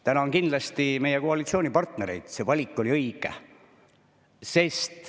Tänan kindlasti meie koalitsioonipartnereid, sest see valik oli õige.